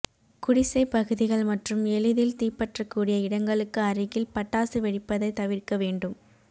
குடிசை பகுதிகள் மற்றும் எளிதில் தீப்பற்றக் கூடிய இடங்களுக்கு அருகில் பட்டாசு வெடிப்பதை தவிர்க்க வேண்டும்